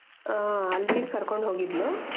ಹ ಅಲ್ಲಿಗ್ ಕರ್ಕೊಂಡು ಹೋಗಿದ್ಲು